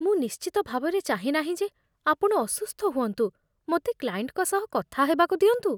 ମୁଁ ନିଶ୍ଚିତ ଭାବରେ ଚାହେଁ ନାହିଁ ଯେ ଆପଣ ଅସୁସ୍ଥ ହୁଅନ୍ତୁ। ମୋତେ କ୍ଲାଏଣ୍ଟଙ୍କ ସହ କଥା ହେବାକୁ ଦିଅନ୍ତୁ।